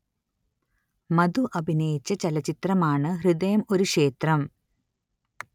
മധു അഭിനയിച്ച ചലച്ചിത്രം ആണ് ഹൃദയം ഒരു ക്ഷേത്രം